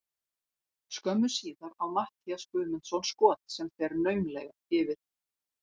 Skömmu síðar á Matthías Guðmundsson skot sem fer naumlega yfir.